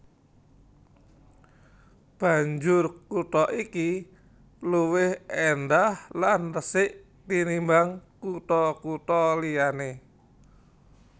Banjur kutha iki luwih éndhah lan resik tinimbang kutha kutha liyané